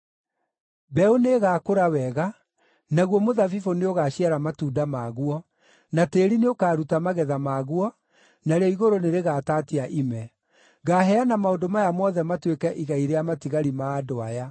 “Mbeũ nĩĩgakũra wega, naguo mũthabibũ nĩũgaciara matunda maguo, na tĩĩri nĩũkaruta magetha maguo, narĩo igũrũ nĩrĩgatatia ime. Ngaaheana maũndũ maya mothe matuĩke igai rĩa matigari ma andũ aya.